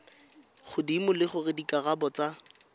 godimo le gore dikarabo tsa